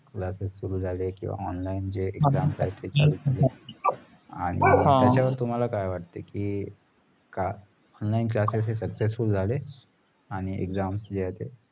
classes सुरू किंवा online जे exam तेय चालु झाले आणी त्याचा वर तुमाला काय वाटतेय की का ONLINE CLASSES हे successful झाले आणी exam जे आहेत ते